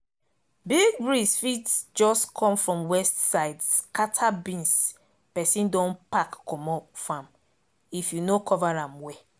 big breeze fit just come from west side scatter beans person don pack comot farm if you no cover am well